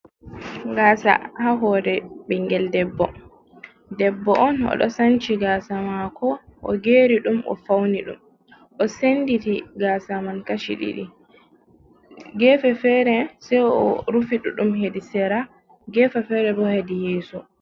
"Gasa" ha hore ɓingel debbo debbo on oɗo sanchi gasa mako o geri ɗum o fauni ɗum o senditi gasa man kashi ɗiɗi gefe fere sai o rufi ɗuɗɗum hedi sera gefe fere bo hedi yeso.